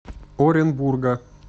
оренбурга